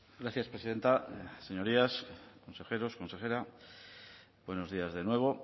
gracias presidenta señorías consejeros consejeras buenos días de nuevo